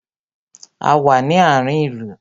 A wà ní àárín ìlú